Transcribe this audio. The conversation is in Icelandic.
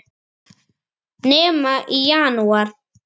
Nema í janúar.